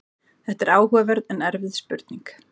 þetta er áhugaverð en erfið spurning